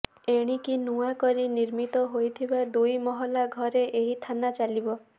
ଏଣିକି ନୂଆ କରି ନିର୍ମିତ ହୋଇଥିବା ଦୁଇ ମହଲା ଘରେ ଏହି ଥାନା ଚାଲିବ